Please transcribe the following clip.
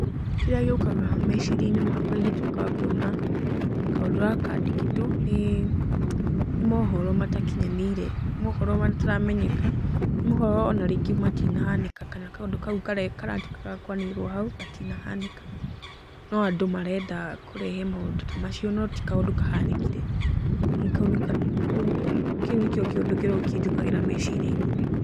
Kĩrĩa gĩũkaga meciria-inĩ makwa ingĩtuĩka wa kuona kaũndũ gaka kandĩkĩtwo, nĩ mohoro matakinyanĩire. Nĩ mohoro mataramenyeka, nĩ mohoro ona rĩngĩ matinahanĩka kana kaũndũ kau karatuĩka ga kũanĩrĩrwo hau gatinahanĩka. No andũ marenda kũrehe maũndũ ta macio, no ti kaũndũ kahanĩkire. Kau nĩ ũguo kĩu nĩkĩo kĩũndũ kĩrĩa kĩnjũkagĩra meciria-inĩ.